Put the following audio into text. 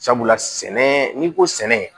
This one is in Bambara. Sabula sɛnɛ n'i ko sɛnɛ